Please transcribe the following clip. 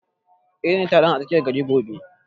Eh, zan je taron a tsakiyar gari gobe